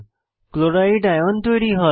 chloride CL ion তৈরী হয়